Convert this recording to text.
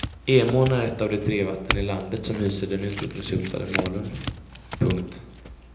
Emån är ett av de tre vatten i landet som hyser den utrotningshotade malen. punkt